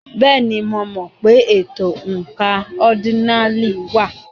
Bẹ́ẹ̀ni, mo mọ̀ pé ètò oǹkà ọ́dínààlí wà.